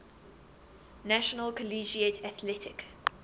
national collegiate athletic